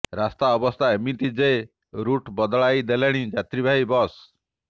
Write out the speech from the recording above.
ରାସ୍ତା ଅବସ୍ଥା ଏମିତି ଯେ ରୁଟ ବଦଳାଇ ଦେଲେଣି ଯାତ୍ରୀବାହୀ ବସ